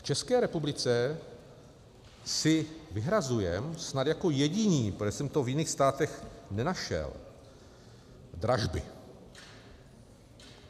V České republice si vyhrazujeme snad jako jediní, protože jsem to v jiných státech nenašel, dražby.